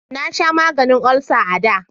Na sha maganin olsa a da